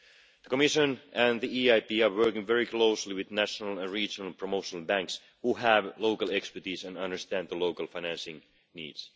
The Commission and the EIB are working very closely with national and regional promotional banks, which have local expertise and understand the local financing needs.